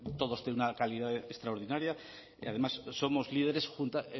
todos tienen una calidad extraordinaria y además somos líderes